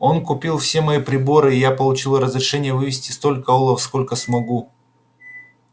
он купил все мои приборы и я получил разрешение вывезти столько олова сколько смогу